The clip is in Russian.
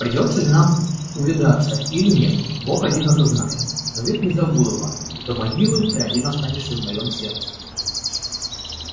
придётся ли нам увидаться или нет бог один это знает но век не забуду вас до могилы ты один останешься в моём сердце